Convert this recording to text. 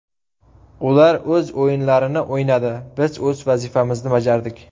Ular o‘z o‘yinlarini o‘ynadi, biz o‘z vazifamizni bajardik.